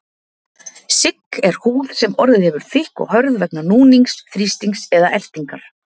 Sigg er húð sem orðið hefur þykk og hörð vegna núnings, þrýstings eða ertingar.